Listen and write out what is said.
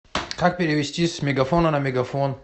как перевести с мегафона на мегафон